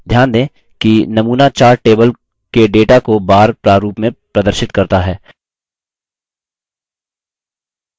ध्यान दें कि नमूना chart table के data को bar प्रारूप में प्रदर्शित करता है